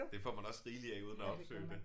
Det får man også rigeligt af uden at opsøge det